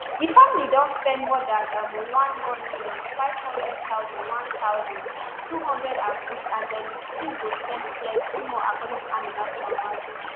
di family don spend more dan um one none million, five hundred thousand one thousand, two hundred and six and dem still go spend plenti more according to aminat mama